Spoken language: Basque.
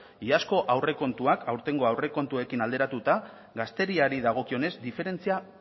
iazko aurrekontuak aurtengo aurrekontuekin alderatuta gazteriari dagokionez diferentzia